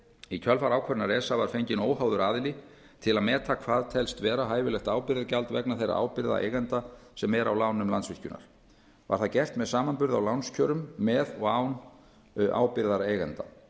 í kjölfar ákvörðunar esa var fenginn óháður aðili til að meta hvað telst vera hæfilegt ábyrgðargjald vegna þeirra ábyrgða eigenda sem eru á lánum landsvirkjunar var það gert með samanburði á lánskjörum með og án ábyrgðar eigenda